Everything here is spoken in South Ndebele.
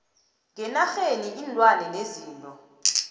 ngeenarheni iinlwana nezinto